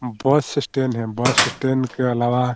यहां bus stand है bus stand के अलावा --